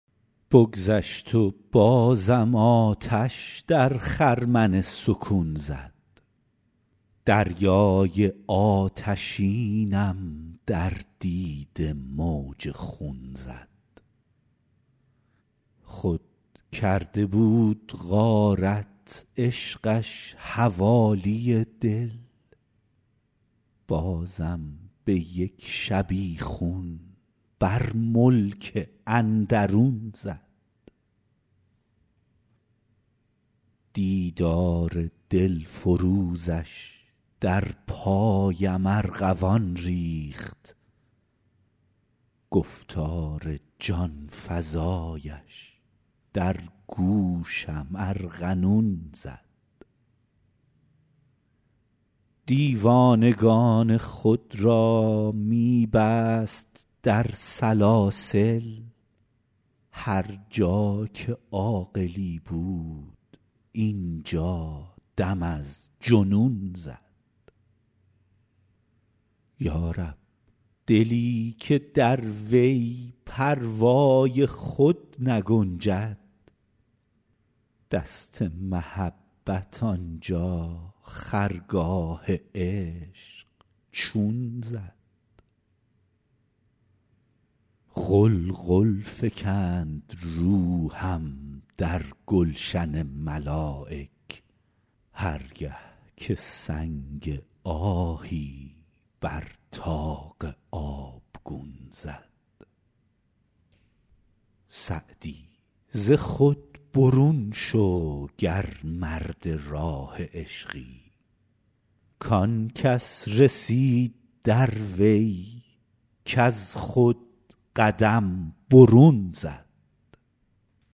بگذشت و بازم آتش در خرمن سکون زد دریای آتشینم در دیده موج خون زد خود کرده بود غارت عشقش حوالی دل بازم به یک شبیخون بر ملک اندرون زد دیدار دلفروزش در پایم ارغوان ریخت گفتار جان فزایش در گوشم ارغنون زد دیوانگان خود را می بست در سلاسل هر جا که عاقلی بود اینجا دم از جنون زد یا رب دلی که در وی پروای خود نگنجد دست محبت آنجا خرگاه عشق چون زد غلغل فکند روحم در گلشن ملایک هر گه که سنگ آهی بر طاق آبگون زد سعدی ز خود برون شو گر مرد راه عشقی کان کس رسید در وی کز خود قدم برون زد